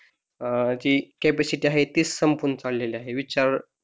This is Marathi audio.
अं जी कॅपॅसिटी आहे तीच संपून चाललेली आहे विचार,